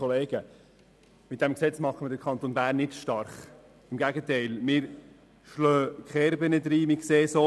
Mit diesem Gesetz machen wir den Kanton Bern nicht stark, im Gegenteil, wir schlagen Kerben rein.